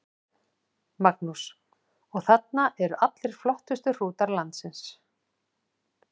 Magnús: Og þarna eru allir flottustu hrútar landsins?